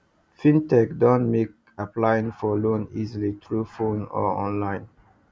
fintech don make applying for loan easy through phone or online